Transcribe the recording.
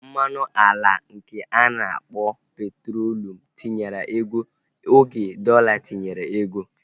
Mmanụ ala nke ana akpọ petrolium tinyere ego oge dọla tinyere ego